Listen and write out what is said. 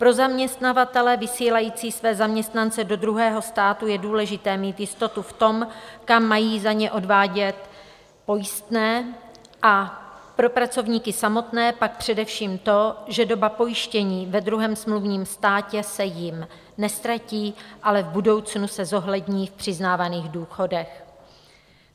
Pro zaměstnavatele vysílající své zaměstnance do druhého státu je důležité mít jistotu v tom, kam mají za ně odvádět pojistné, a pro pracovníky samotné pak především to, že doba pojištění ve druhém smluvním státě se jim neztratí, ale v budoucnu se zohlední v přiznávaných důchodech.